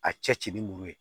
A cɛ ci ni muru ye